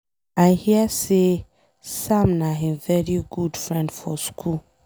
I hear say Sam na him very good friend for school.